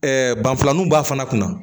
banfilaninw b'a fana kunna